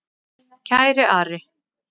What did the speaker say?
Kæri Ari.